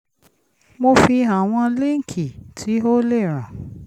mo fi àwọn líǹkì tí ó lè ràn